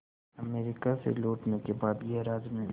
America से लौटने के बाद गैराज में